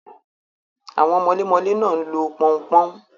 Àwọn mọlémọlé náà ń lo pọn-n-pọ́n.